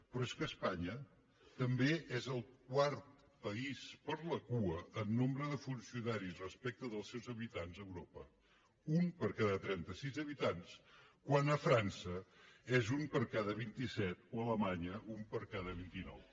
però és que espanya també és el quart país per la cua en nombre de funcionaris respecte als seus habitants a europa un per cada trenta sis habitants quan a frança és un per cada vint set o a alemanya un per cada vint nou